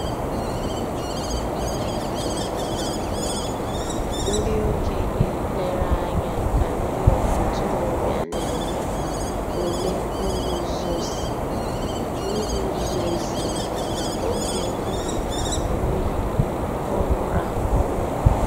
Ǹdí òkènye lèrè ànyà kà ńdí ntòròbịa nà-èmè ǔlè ngùzòzì ògè òyì n'àlà òyì kpọ̀nwụrụ̀ àkpọnwụ̀.